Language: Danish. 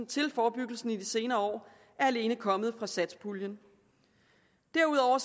til forebyggelse i de senere år er alene kommet fra satspuljen derudover